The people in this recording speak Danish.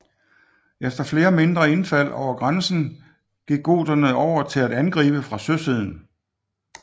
Efter flere mindre indfald over grænsen gik goterne over til at angribe fra søsiden